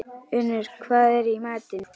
Unnur, hvað er í matinn?